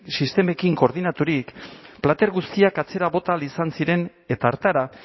sistemekin koordinaturik plater guztiak atzera bota ahal izan ziren eta hartara